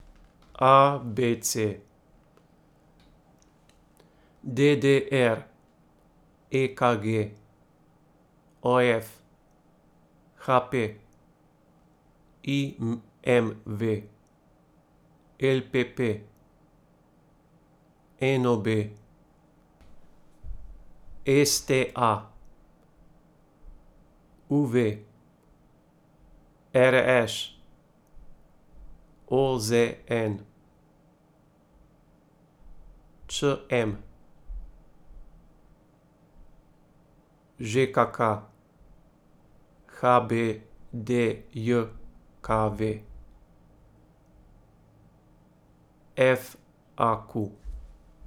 A B C; D D R; E K G; O F; H P; I M V; L P P; N O B; S T A; U V; R Š; O Z N; Č M; Ž K K; H B D J K V; F A Q.